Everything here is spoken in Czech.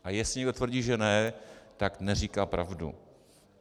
A jestliže někdo tvrdí, že ne, tak neříká pravdu.